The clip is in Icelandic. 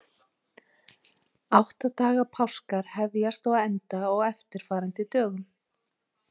Átta daga páskar hefjast og enda á eftirfarandi dögum.